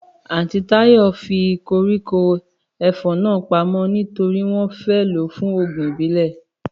Àntí Táyò fi koríko ẹfọ̀n náà pamó nítorí wọn fẹ lo fún òògùn ìbílè